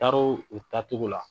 Taar'o o taacogo la.